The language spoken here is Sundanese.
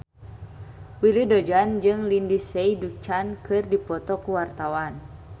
Willy Dozan jeung Lindsay Ducan keur dipoto ku wartawan